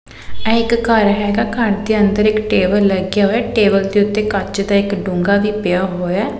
ਇਹ ਇੱਕ ਘਰ ਹੈਗਾ ਘਰ ਦੇ ਅੰਦਰ ਇਕ ਟੇਬਲ ਲੱਗਿਆ ਹੋਇਐ ਟੇਬਲ ਦੇ ਉੱਤੇ ਕੱਚ ਦਾ ਇੱਕ ਡੂੰਘਾ ਵੀ ਪਿਆ ਹੋਇਐ।